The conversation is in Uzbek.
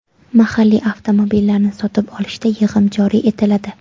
Mahalliy avtomobillarni sotib olishda yig‘im joriy etiladi.